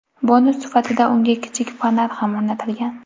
Bonus sifatida unga kichik fonar ham o‘rnatilgan.